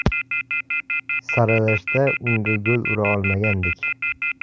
Saralashda unga gol ura olmagandik.